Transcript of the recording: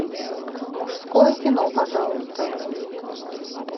мужское кино пожалуйста